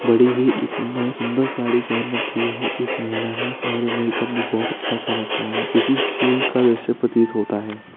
बड़ी ही इसमें सुंदर सारी पेहेन रखी है इस महिला ने और मेक-अप भी बहुत अच्छा कर रखा है किसी स्कूल का दृश्य प्रतीत होता है।